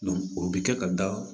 o bɛ kɛ ka da